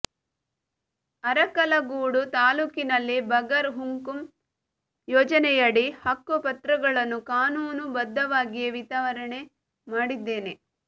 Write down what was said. ಅರಕಲಗೂಡು ತಾಲೂಕಿನಲ್ಲಿ ಬಗರ್ ಹುಕುಂ ಯೋಜನೆಯಡಿ ಹಕ್ಕು ಪತ್ರಗಳನ್ನು ಕಾನೂನು ಬದ್ಧವಾಗಿಯೇ ವಿತರಣೆ ಮಾಡಿದ್ದೇನೆ